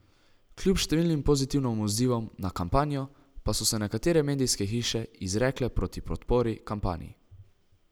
Kljub številnim pozitivnim odzivom na kampanjo, pa so se nekatere medijske hiše izrekle proti podpori kampanji.